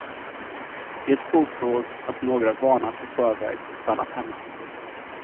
Det påstods att några varnats i förväg och stannat hemma.